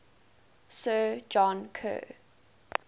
sir john kerr